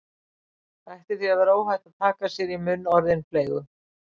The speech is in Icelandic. Það ætti því að vera óhætt að taka sér í munn orðin fleygu